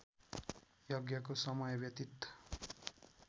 यज्ञको समय व्यतित